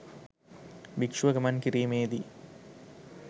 භික්‍ෂුව ගමන් කිරීමේ දී